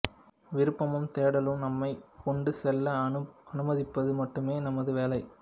விருப்பமும் தேடலும் நம்மைக் கொண்டுசெல்ல அனுமதிப்பது மட்டுமே நமது வேலை